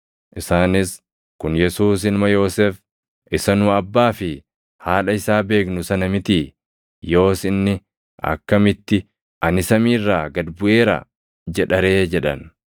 Isaanis, “Kun Yesuus ilma Yoosef, isa nu abbaa fi haadha isaa beeknu sana mitii? Yoos inni akkamitti, ‘Ani samii irraa gad buʼeera’ jedha ree?” jedhan.